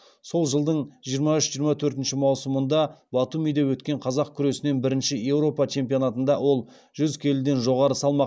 сол жылдың жиырма үш жиырма төртінші маусымында батумиде өткен қазақ күресінен бірінші еуропа чемпионатында ол жүз келіден жоғары салмақ